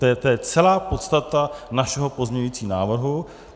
To je celá podstata našeho pozměňujícího návrhu.